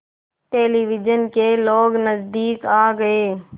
television के लोग नज़दीक आ गए